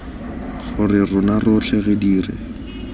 gore rona rotlhe re dire